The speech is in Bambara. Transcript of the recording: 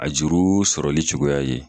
A juru sɔrɔli cogoya ye.